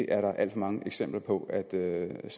er alt for mange eksempler på at tingene